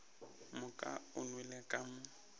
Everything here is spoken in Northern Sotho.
moka o nwelele ka mo